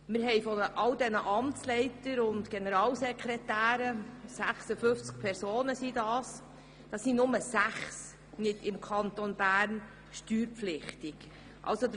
Wir haben unter all den Amtsleitern und Generalsekretären – das sind 56 Personen – nur gerade sechs Personen, die nicht im Kanton Bern steuerpflichtig sind.